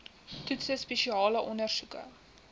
toetse spesiale ondersoeke